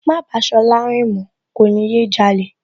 Má bàá Ṣọlá rìn mọ̀ọ́, kò ní yé jalè